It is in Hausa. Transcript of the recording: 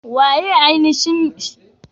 Waye ne ainashin mai shugaban cin kujeran?